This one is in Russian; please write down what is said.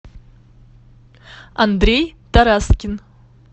андрей тараскин